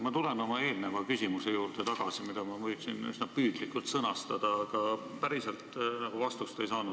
Ma tulen tagasi oma eelmise küsimuse juurde, mida ma püüdsin üsna selgelt sõnastada, aga päriselt ma vastust ei saanud.